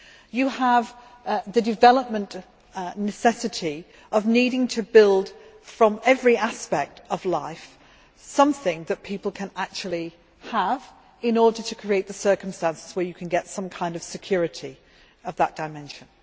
You have the development necessity of needing to build from every aspect of life something that people can actually have, in order to create the circumstances where you can get some kind of security for that dimension.